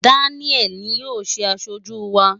Daniel ni yóò ṣe aṣojú wa.